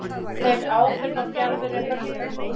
Tek ábyrgð á fjarveru Hörpu